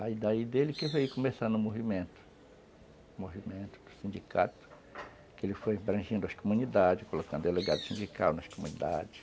Aí daí dele que veio começando o movimento, o movimento do sindicato, que ele foi embranjando as comunidades, colocando delegado sindical nas comunidades.